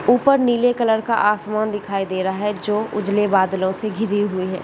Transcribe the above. ऊपर नीले कलर का आसमान दिखाई दे रहा हैं जो उजले बादलों से घिरी हुए हैं।